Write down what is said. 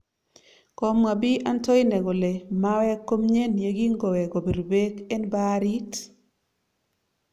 komwa BI Antoine kole mawek komyen yekingowe kopir beek en baarit